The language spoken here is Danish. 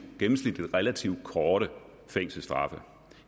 gennemsnit relativt korte fængselsstraffe